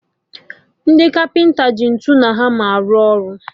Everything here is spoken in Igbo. Ndị kapịnta ji ntụ na hama arụ ọrụ